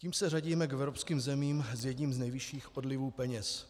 Tím se řadíme k evropským zemím s jedním z nejvyšších odlivů peněz.